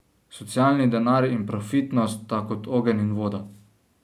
Socialni denar in profitnost sta kot ogenj in voda.